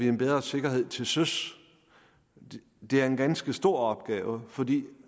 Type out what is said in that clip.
en bedre sikkerhed til søs det er en ganske stor opgave fordi